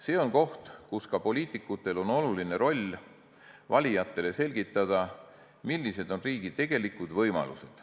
See on koht, kus ka poliitikutel on oluline roll valijatele selgitamisel, millised on riigi tegelikud võimalused.